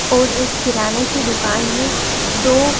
और एक किराने की दुकान है दो--